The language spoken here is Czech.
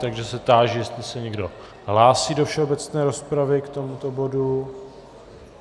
Takže se táži, jestli se někdo hlásí do všeobecné rozpravy k tomuto bodu.